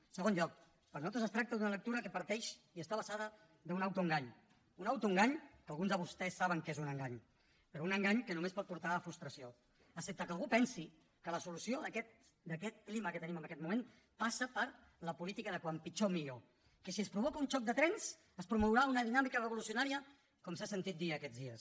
en segon lloc per nosaltres es tracta d’una lectura que parteix i està basada en un autoengany un autoengany que alguns de vostès saben que és un engany però un engany que només pot portar frustració excepte que algú pensi que la solució d’aquest clima que tenim en aquest moment passa per la política de com pitjor millor que si es provoca un xoc de trens es promourà una dinàmica revolucionària com s’ha sentit dir aquests dies